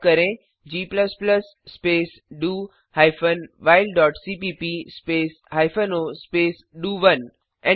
type करें g space do hyphen while dot सीपीप space hyphen o space डीओ1